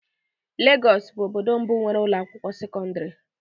Lagos bụ obodo mbụ nwere ụlọ akwụkwọ sekọndrị.